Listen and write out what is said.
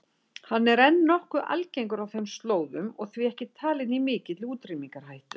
Hann er enn nokkuð algengur á þeim slóðum og því ekki talinn í mikilli útrýmingarhættu.